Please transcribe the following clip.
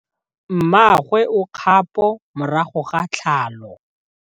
Mmagwe o kgapô morago ga tlhalô.